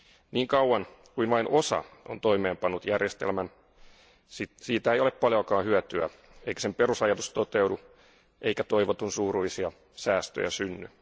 Niin kauan kuin vain osa on toimeenpannut järjestelmän, siitä ei ole paljoakaan hyötyä eikä sen perusajatus toteudu eikä toivotunsuuruisia säästöjä synny.